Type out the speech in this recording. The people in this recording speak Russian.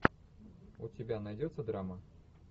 у тебя найдется драма